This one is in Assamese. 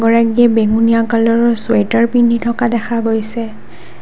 বেঙুনীয়া কালাৰৰ চুৱেটাৰ পিন্ধি থকা দেখা গৈছে।